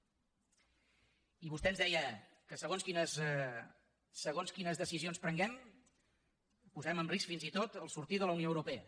i vostè ens deia que segons quines decisions prenguem posarem en risc fins i tot el fet de sortir de la unió europea